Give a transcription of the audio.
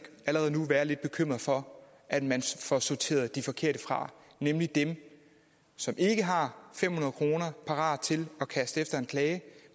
allerede nu være lidt bekymret for at man får sorteret de forkerte fra nemlig dem som ikke har fem hundrede kroner parat til at kaste efter en klage